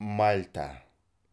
мальта